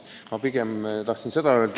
Ma tahtsin seda öelda.